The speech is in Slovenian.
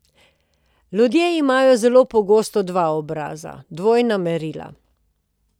Ljudje imamo zelo pogosto dva obraza, dvojna merila.